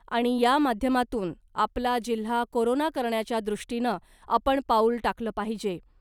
आणि या माध्यमातून आपला जिल्हा कोरोना करण्याच्या दृष्टीनं आपण पाऊल टाकलं पाहिजे .